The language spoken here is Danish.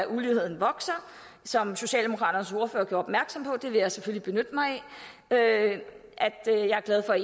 uligheden vokser som socialdemokraternes ordfører gjorde opmærksom på det vil jeg selvfølgelig benytte mig af jeg er glad for